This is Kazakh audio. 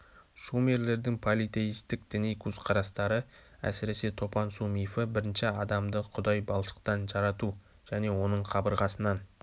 шумерлердің политеистік діни көзқарастары әсіресе топан су мифі бірінші адамды құдай балшықтан жарату және оның қабырғасынан